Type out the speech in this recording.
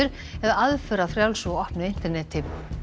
eða aðför að frjálsu og opnu interneti